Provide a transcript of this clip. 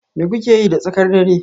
Me kuka yi da tsakar dare?